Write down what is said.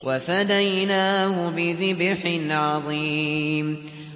وَفَدَيْنَاهُ بِذِبْحٍ عَظِيمٍ